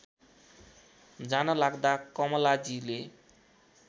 जान लाग्दा कमलाजीले